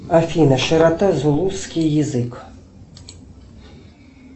афина широта зулусский язык